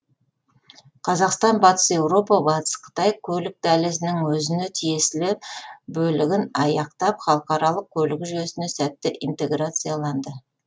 қазақстан батыс еуропа батыс қытай көлік дәлізінің өзіне тиесілі бөлігін аяқтап халықаралық көлік жүйесіне сәтті интеграцияланды